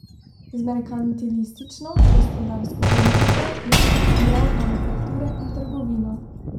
Z merkantilistično gospodarsko politiko je podpiral manufakture in trgovino.